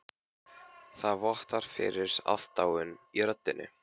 Það vottar fyrir aðdáun í röddinni.